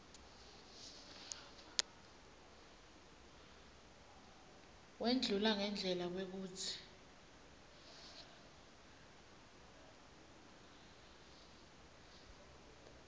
wendlula ngendlela kwekutsi